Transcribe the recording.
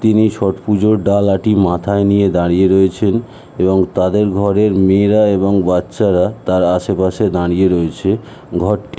তিনি ছোট পুজোর ডালা টি মাথায় নিয়ে দাঁড়িয়ে রয়েছেন এবং তাদের ঘরের মেয়েরা এবং বাচ্চারা তার আসে পাশে দাঁড়িয়ে রয়েছে। ঘরটি--